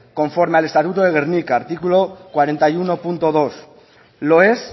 conforme al estatuto de gernika artículo cuarenta y uno punto dos lo es